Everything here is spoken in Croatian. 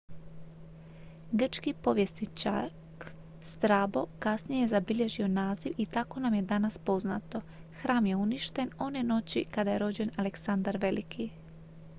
grčki povjesničak strabo kasnije je zabilježio naziv i tako nam je danas poznato hram je uništen one noći kada je rođen aleksandar veliki